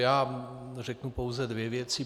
Já řeknu pouze dvě věci.